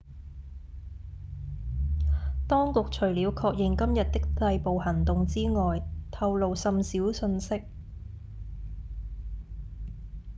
當局除了確認今日的逮捕行動之外透露甚少訊息